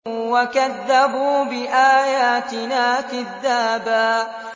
وَكَذَّبُوا بِآيَاتِنَا كِذَّابًا